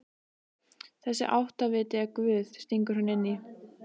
Og þessi áttaviti er Guð, stingur hún inn í.